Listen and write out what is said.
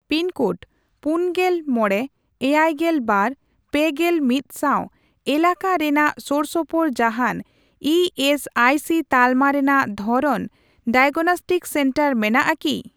Pin code ᱯᱩᱱᱜᱮᱞ ᱢᱚᱲᱮ, ᱮᱭᱟᱭᱜᱮᱞ ᱵᱟᱨ, ᱯᱮᱜᱮᱞ ᱢᱤᱫ ᱥᱟᱣ ᱮᱞᱟᱠᱟ ᱨᱮᱱᱟᱜ ᱥᱳᱨᱥᱳᱯᱳᱨ ᱡᱟᱦᱟᱸᱱ ᱤ ᱮᱥ ᱟᱭ ᱥᱤ ᱛᱟᱞᱢᱟ ᱨᱮᱱᱟᱜ ᱫᱷᱚᱨᱚᱱ ᱰᱟᱭᱟᱜᱱᱚᱥᱴᱤᱠ ᱥᱮᱱᱴᱟᱨ ᱢᱮᱱᱟᱜ ᱟᱠᱤ ?